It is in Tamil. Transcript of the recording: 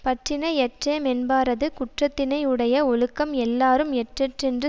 பற்றினை யற்றேமென்பாரது குற்றத்தினை யுடைய ஒழுக்கம் எல்லாரும் எற்றெற் றென்று